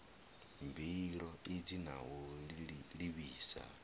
mbilo idzi na u livhisa